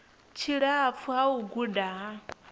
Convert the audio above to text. tshilapfu ha u guda ha